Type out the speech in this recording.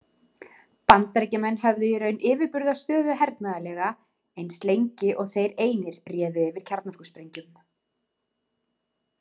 Bandaríkjamenn höfðu í raun yfirburðastöðu hernaðarlega, eins lengi og þeir einir réðu yfir kjarnorkusprengjum.